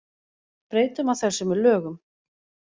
Breyta má þessu með lögum.